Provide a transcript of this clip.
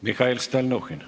Mihhail Stalnuhhin.